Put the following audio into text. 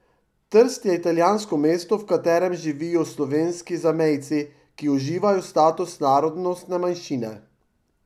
Trst je italijansko mesto, v katerem živijo slovenski zamejci, ki uživajo status narodnostne manjšine.